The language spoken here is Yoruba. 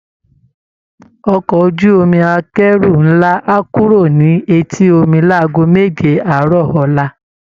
Ọkọ̀ ojú-omi akẹ́rù ńlá á kúrò ní etí omi láago méje àárọ̀ ọ̀la